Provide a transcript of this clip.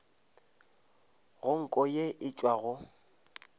go nko ye e tšwago